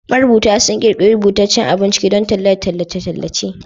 Marubuta sun ƙirƙiri rubutaccen abun ciki don talla da tallace-tallace